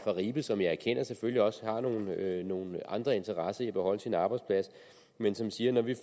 i ribe som jeg erkender selvfølgelig også har nogle nogle andre interesser i at beholde sin arbejdsplads som siger når vi